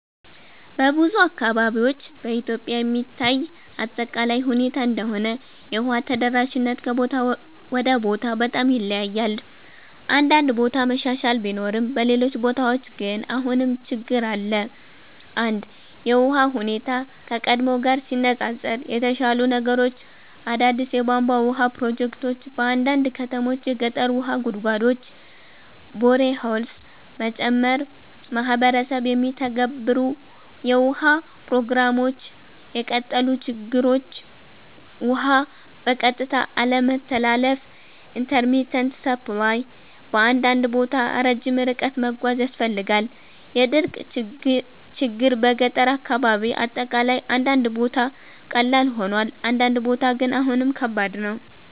በብዙ አካባቢዎች (በኢትዮጵያ የሚታይ አጠቃላይ ሁኔታ እንደሆነ) የውሃ ተደራሽነት ከቦታ ወደ ቦታ በጣም ይለያያል። አንዳንድ ቦታ መሻሻል ቢኖርም በሌሎች ቦታዎች ግን አሁንም ችግኝ አለ። 1) የውሃ ሁኔታ (ከቀድሞ ጋር ሲነፃፀር) የተሻሻሉ ነገሮች አዳዲስ የቧንቧ ውሃ ፕሮጀክቶች በአንዳንድ ከተሞች የገጠር ውሃ ጉድጓዶች (boreholes) መጨመር ማህበረሰብ የሚተገበሩ የውሃ ፕሮግራሞች የቀጠሉ ችግኞች ውሃ በቀጥታ አለመተላለፍ (intermittent supply) በአንዳንድ ቦታ ረጅም ርቀት መጓዝ ያስፈልጋል የድርቅ ችግኝ በገጠር አካባቢ አጠቃላይ አንዳንድ ቦታ ቀላል ሆኗል፣ አንዳንድ ቦታ ግን አሁንም ከባድ ነው።